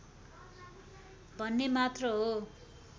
भन्ने मात्र हो